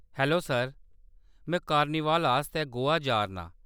Hello sir, में carnival आस्तै गोवा जा’रना आं।